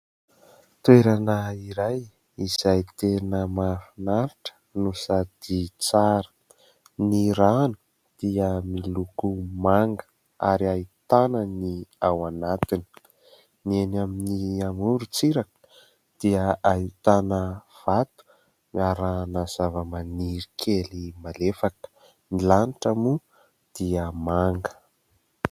Toerana iray izay tena mahafinaritra no sady tsara. Ny rano dia miloko manga ary ahitana ny ao anatiny. Ny eny amin'ny amorontsiraka dia ahitana vato arahana zavamaniry kely malefaka ; ny lanitra moa dia manga.